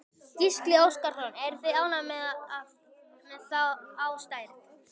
Gísli Óskarsson: Eruð þið ánægðir með þá stærð?